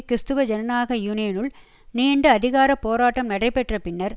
கிறிஸ்துவ ஜனநாயக யூனியனுள் நீண்ட அதிகார போராட்டம் நடைபெற்ற பின்னர்